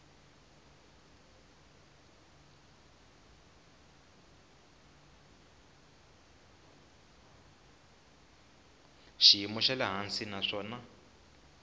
xiyimo xa le hansi naswona